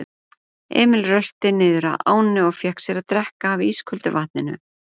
Emil rölti niðrað ánni og fékk sér að drekka af ísköldu vatninu.